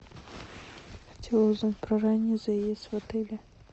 хотела узнать про ранний заезд в отеле